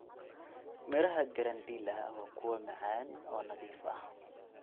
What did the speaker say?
Midhaha granadilla waa kuwo macaan oo nadiif ah.